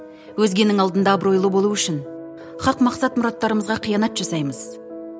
өзгенің алдында абыройлы болу үшін хақ мақсат мұраттарымызға қиянат жасаймыз